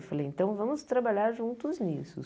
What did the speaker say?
Eu falei, então vamos trabalhar juntos nisso.